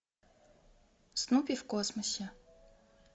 снуппи в космосе